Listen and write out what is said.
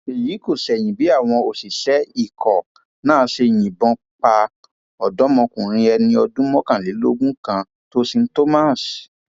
èyí kò ṣẹyìn bí àwọn òṣìṣẹ ikọ náà ṣe yìnbọn pa ọdọmọkùnrin ẹni ọdún mọkànlélógún kan tósìn thomas